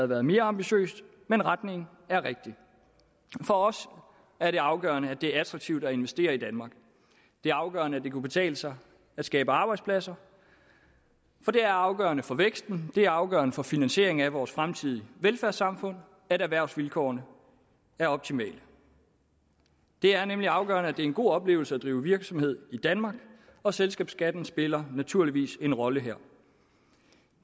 været mere ambitiøst men retningen er rigtig for os er det afgørende at det er attraktivt at investere i danmark det er afgørende at det kan betale sig at skabe arbejdspladser for det er afgørende for væksten det er afgørende for finansieringen af vores fremtidige velfærdssamfund at erhvervsvilkårene er optimale det er nemlig afgørende at det er en god oplevelse at drive virksomhed i danmark og selskabsskatten spiller naturligvis en rolle her